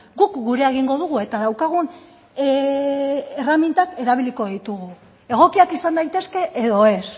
guk gurea egingo dugu eta daukagun erremintak erabiliko ditugu egokiak izan daitezke edo ez